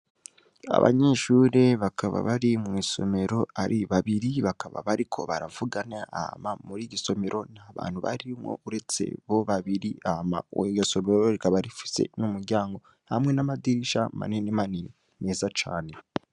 Abanyeshure bakaba bari mw'isomero ari babiri, bakaba bari ko baravugana ama muri igisomero nta bantu barimwo uretse bo babiri, ama uwe gasomero rikabarifise n'umuryango hamwe n'amadirisha manenemanin meza cane.